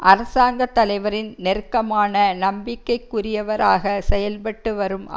அரசாங்க தலைவரின் நெருக்கமான நம்பிக்கைக்குரியவராக செயல்பட்டு வரும்